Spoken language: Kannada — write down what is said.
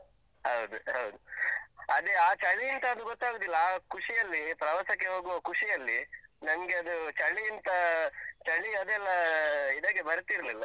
ಹೌದು ಹೌದು. ಅದೇ ಆ ಚಳೀಂತಾ ಅದು ಗೊತ್ತಾಗುದಿಲ್ಲ. ಆ ಖುಷಿಯಲ್ಲಿ, ಪ್ರವಾಸಕ್ಕೆ ಹೋಗುವ ಖುಷಿಯಲ್ಲಿ, ನಂಗೆ ಅದು ಚಳೀಂತಾ, ಚಳಿ ಅದೆಲ್ಲ ಇದಕ್ಕೆ ಬರ್ತಿರ್ಲಿಲ್ಲ.